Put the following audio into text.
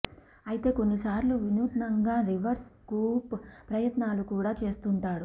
అయితే కొన్ని సార్లు వినూత్నంగా రివర్స్ స్కూప్ ప్రయత్నాలు కూడా చేస్తుంటాడు